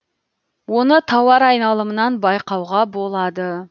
оны тауар айналымынан байқауға болады